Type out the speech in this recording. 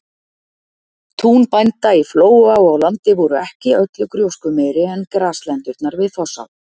Tún bænda í Flóa og á Landi voru ekki öllu gróskumeiri en graslendurnar við Fossá.